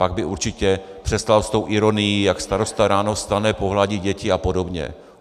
Pak by určitě přestal s tou ironií, jak starosta ráno vstane, pohladí děti a podobně.